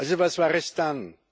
Also was war es dann?